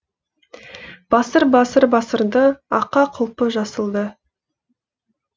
басыр басыр басыр ды аққа құлпы жасылды